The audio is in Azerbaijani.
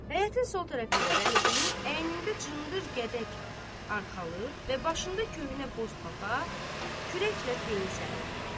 Həyətin sol tərəfində Bəliqulu, əynində cındır gədək arxalıq və başında köhnə boz papaq, kürəklə peyinsəlirdi.